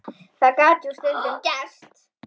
Það gat jú stundum gerst!